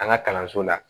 An ka kalanso la